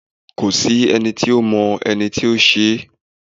kòsí ẹni tí ọ mọ ẹnití o ṣe